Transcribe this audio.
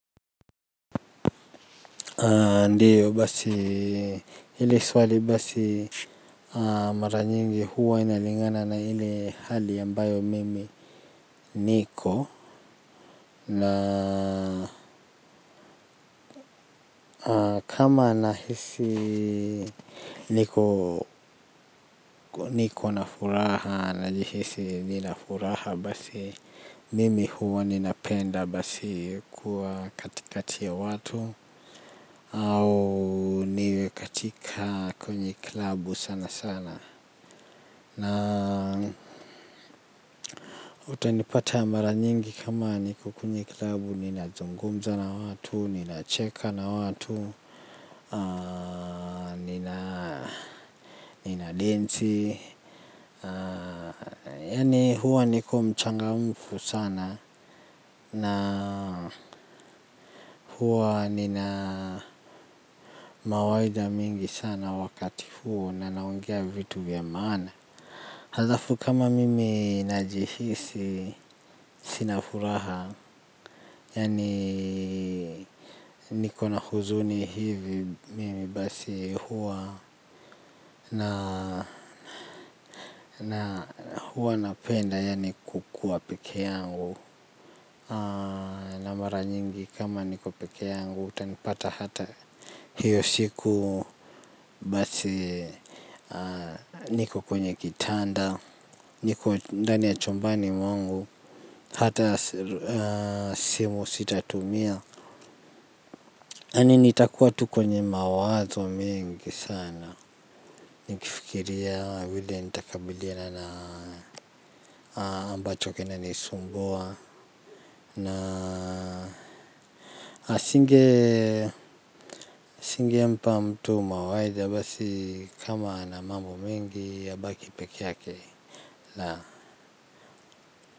Ndiyo basi hili swali basi maranyingi huwa inalingana na hili hali ambayo mimi niko. Na kama nahisi niko niko na furaha na jihisi nina furaha basi mimi huwa ninapenda basi kuwa katikati ya watu au niwekatika kwenye kilabu sana sana na utanipata mara nyingi kama niko kwenye kilabu nina zungumza na watu, nina cheka na watu nina densi yani huwa niko mchanga umfu sana na huwa nina mawaida mingi sana wakati huo na naongea vitu ya maana. Halafu kama mimi najihisi sinafuraha. Yani niko na huzuni hivi mimi basi huwa na huwa na penda yani kukuwa peke yangu. Na mara nyingi kama niko peke yangu utanipata hata hiyo siku basi niko kwenye kitanda. Niko ndani ya chumbani mwangu. Hata simu sitatumia yani nitakuwa tu kwenye mawazo mengi sana. Nikifikiria vile nitakabiliana ambacho kina nisumbua. Na Singe Singe mpa mtu mawaidha basi kama ana mambo mingi abaki peke yake la.